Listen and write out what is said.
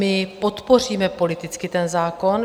My podpoříme politicky ten zákon.